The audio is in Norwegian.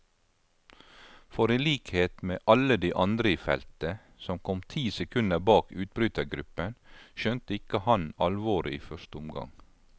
For i likhet med alle de andre i feltet, som kom ti sekunder bak utbrytergruppen, skjønte ikke han alvoret i første omgang.